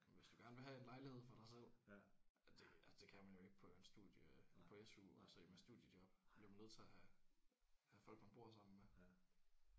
Men hvis du gerne vil have en lejlighed for dig selv ja det ja det kan man jo ikke på en studie på SU og så ikke med studiejob bliver man jo nødt til at have have folk man bor sammen med